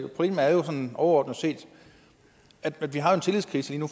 sådan overordnet set at vi har en tillidskrise lige nu